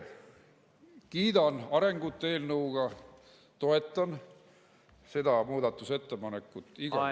Kiidan arengut selle eelnõu puhul ja toetan seda muudatusettepanekut igal juhul.